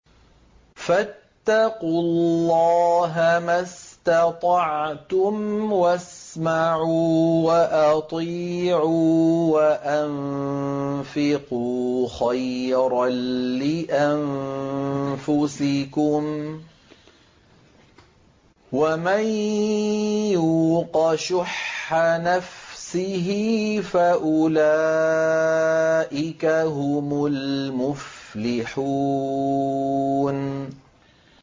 فَاتَّقُوا اللَّهَ مَا اسْتَطَعْتُمْ وَاسْمَعُوا وَأَطِيعُوا وَأَنفِقُوا خَيْرًا لِّأَنفُسِكُمْ ۗ وَمَن يُوقَ شُحَّ نَفْسِهِ فَأُولَٰئِكَ هُمُ الْمُفْلِحُونَ